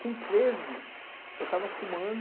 Com treze, eu estava fumando.